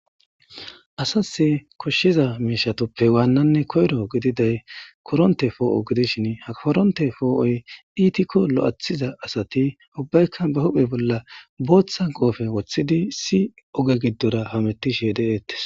Asasi koshiza mishatuppe wanane koyro gididay koronte po'o gidishin ha koronte po'oy itikko lo'athiza asati ubbaykka be huphe bolla botha qofe wothidi issi oge gidora hametishe detese